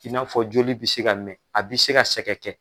I n'a fɔ joli bi se ka mɛn a bi se ka sɛgɛn kɛ.